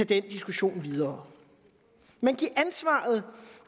den diskussion videre men giv ansvaret